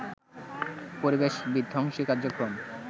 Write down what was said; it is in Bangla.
পরিবেশ বিধ্বংসী কার্যক্রম